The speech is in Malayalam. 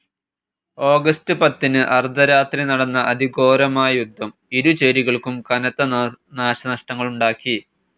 ഓഗസ്റ്റ്‌ പത്തിന് അർധരാത്രി നടന്ന അതിഘോരമായ യുദ്ധം ഇരു ചേരികൾക്കും കനത്ത നാശനഷ്ടങ്ങളുണ്ടാക്കി.